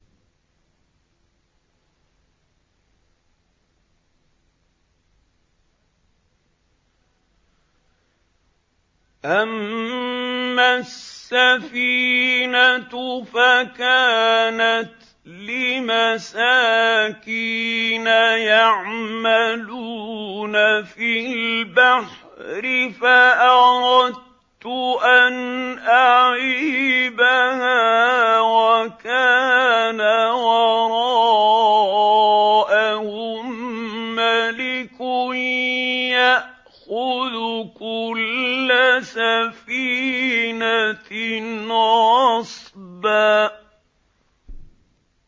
أَمَّا السَّفِينَةُ فَكَانَتْ لِمَسَاكِينَ يَعْمَلُونَ فِي الْبَحْرِ فَأَرَدتُّ أَنْ أَعِيبَهَا وَكَانَ وَرَاءَهُم مَّلِكٌ يَأْخُذُ كُلَّ سَفِينَةٍ غَصْبًا